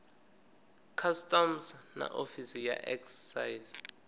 customs na ofisi ya excise